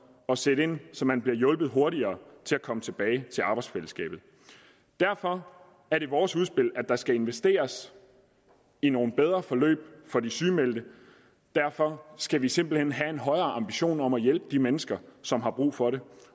at sætte ind så man bliver hjulpet hurtigere til at komme tilbage til arbejdsfællesskabet derfor er det vores udspil at der skal investeres i nogle bedre forløb for de sygemeldte derfor skal vi simpelt hen have en højere ambition om at hjælpe de mennesker som har brug for det